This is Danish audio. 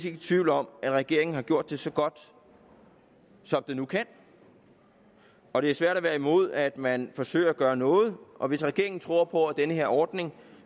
i tvivl om at regeringen har gjort det så godt som den nu kan og det er svært at være imod at man forsøger at gøre noget og hvis regeringen tror på at den her ordning